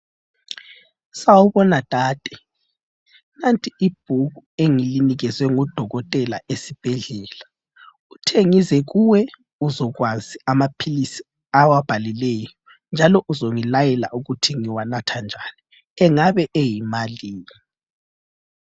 Sabona dade nanti ibhuku engilinikezwe ngudokotela esibhedlela, uthe ngize kuwe uzokwazi amaphilisi awabhalileyo njalo uzongilayela ukuthi ngiwanatha njani, engabe eyimalini.